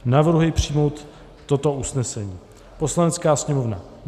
Navrhuji přijmout toto usnesení: Poslanecká sněmovna